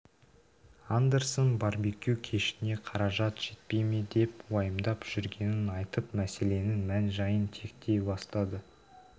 андерсон барбекю кешіне қаражат жетпей ме деп уайымдап жүргенін айтып мәселенің мән-жайын тектей бстады